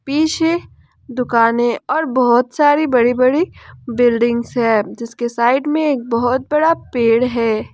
पीछे दुकानें और बहुत सारी बड़ी बड़ी बिल्डिंग्स है जिसके साइड में एक बहुत बड़ा पेड़ है।